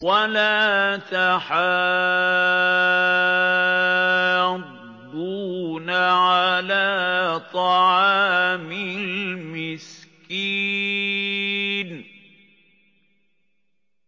وَلَا تَحَاضُّونَ عَلَىٰ طَعَامِ الْمِسْكِينِ